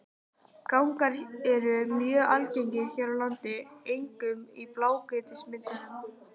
Gangar eru mjög algengir hér á landi, einkum í blágrýtismynduninni.